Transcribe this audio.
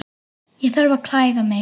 Ég þarf að klæða mig.